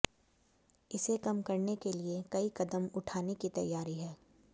इसे कम करने के लिए कई कदम उठाने की तैयारी है